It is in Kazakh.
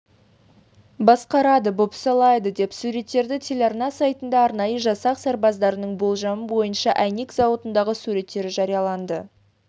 басқарады бопсалайды деп суреттеді телеарна сайтында арнайы жасақ сарбаздарының болжам бойынша әйнек зауытындағы суреттері жарияланды